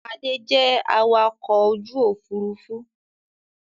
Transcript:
Adé jẹ awakọ̀ ojú Òfurufú